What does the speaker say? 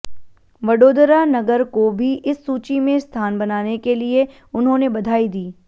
वडोदरा नगर को भी इस सूची में स्थान बनाने के लिए उन्होंने बधाई दी